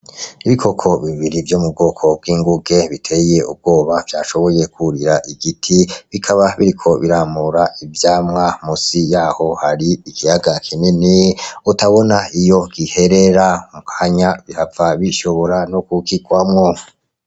Ibikoko bibiri vyo mu bwoko bw'inguge biteye ubwoba vyashoboye kurira igiti bikaba biriko biramura ivyamwa musi yaho hari ikiyaga kinini utabona Iyo giherera , mukanya bihava bishobora no kugirwamwo.